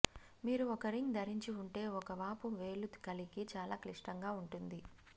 మీరు ఒక రింగ్ ధరించి ఉంటే ఒక వాపు వేలు కలిగి చాలా క్లిష్టంగా ఉంటుంది